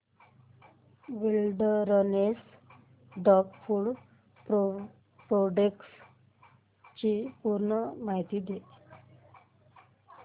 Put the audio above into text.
wilderness dog food products ची पूर्ण माहिती दे